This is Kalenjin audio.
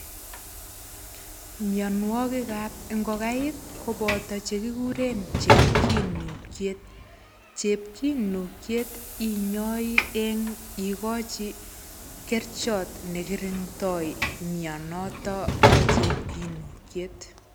Mianwogikap ngokaik, koboto chekikuren chepkinukiet. Chepkinukiet inyai eng ikochi kerichot nekirindoi mianotok bo chepkinukiet.